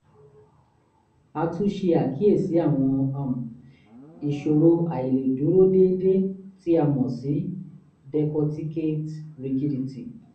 a tún ṣe àkíyèsí àwọn àm ìṣòro àìlèdúró déédé tí a mọ̀ sí decorticate rigidity